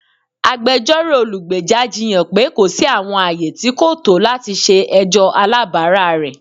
Agbẹjọro olugbeja jiyan pe ko si awọn aaye ti ko to lati ṣe ẹjọ alabara rẹ.